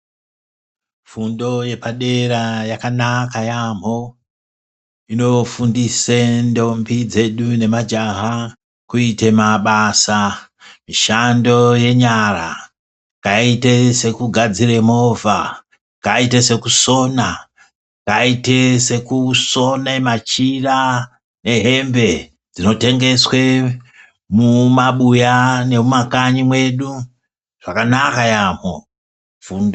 Fundo yepadera yakanaka yaamho. Inofundise ntombi dzedu nemajaha kuite mabasa mushando yenyara yakaite sekugadzira movha, yakaite sekusona, yakaite kusona machira ehembe dzinotengeswa mumabuya nemumakanyi mwedu zvakanaka yaamho.